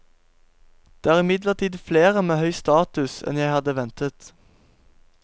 Det er imidlertid flere med høy status enn jeg hadde ventet.